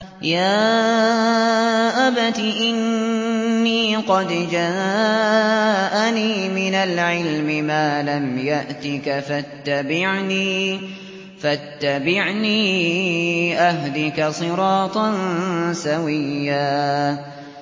يَا أَبَتِ إِنِّي قَدْ جَاءَنِي مِنَ الْعِلْمِ مَا لَمْ يَأْتِكَ فَاتَّبِعْنِي أَهْدِكَ صِرَاطًا سَوِيًّا